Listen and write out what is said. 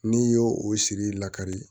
N'i y'o o siri la kari